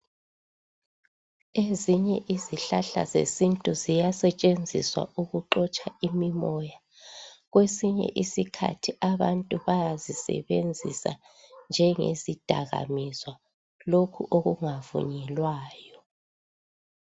Ezinye izihlahla zesintu ziyasetshenziswa ukuxotsha imimoya kwesinye isikhathi abantu bayazisebenzisa njenge zidakamizwa lokhu okungavunyelwayo .